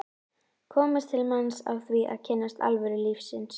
komist til manns á því að kynnast alvöru lífsins.